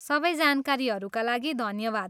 सबै जानकारीहरूका लागि धन्यवाद।